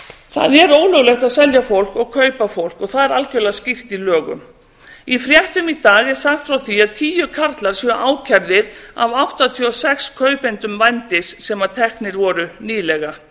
það er ólöglegt að selja fólk og kaupa fólk og það er algjörlega skýrt í lögum í fréttum í dag er sagt frá því að tíu karlar séu ákærðir af áttatíu og sex kaupendum vændis sem teknir voru nýlega